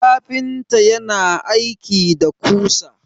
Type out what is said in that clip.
kafinta yana aiki da kusa